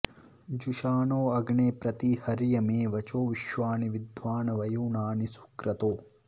जु॒षा॒णो अ॑ग्ने॒ प्रति॑ हर्य मे॒ वचो॒ विश्वा॑नि वि॒द्वान्व॒युना॑नि सुक्रतो